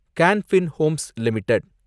கான் பின் homes limited